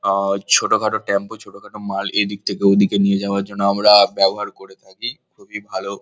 আ ছোট খাটো টেম্পো ছোট খাটো মাল এদিক থেকে ওদিক নিয়ে যাওয়ার জন্য আমরা ব্যবহার করে থাকি খুবই ভালো।